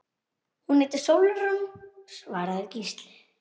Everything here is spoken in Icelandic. Hún heitir Sólrún, svaraði Gísli.